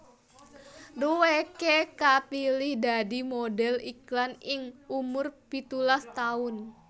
Dheweké kapilih dadi modhel iklan ing umur pitulas taun